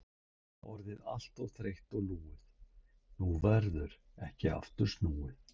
Orðið allt of þreytt og lúið, nú verður ekki aftur snúið.